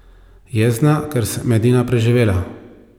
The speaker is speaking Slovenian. Jezna, ker sem edina preživela.